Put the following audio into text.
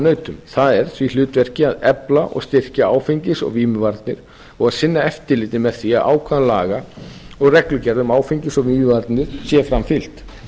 og áfengisvarnaráðunautum það er því hlutverki að efla og styrkja áfengis og vímuvarnir og að sinna eftirliti með því að ákvæðum laga og reglugerða um áfengis og vímuvarnir sé framfylgt